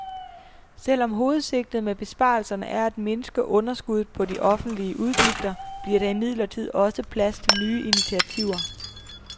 Selv om hovedsigtet med besparelserne er at mindske underskuddet på de offentlige udgifter, bliver der imidlertid også plads til nye initativer.